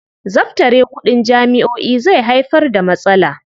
Zabtare kuɗin jami'o'i zai haifar da matsala.